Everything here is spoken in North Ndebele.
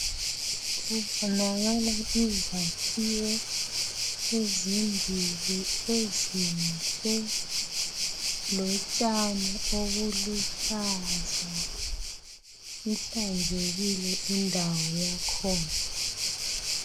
Kubonakala izakhiwo ezimbili ezinhle lotshani obuluhlaza , ihlanzekile indawo yakhona.